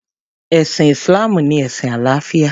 Ẹ̀sìn Islam ni ẹ̀sìn àlàáfíà.